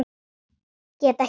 Get ekkert.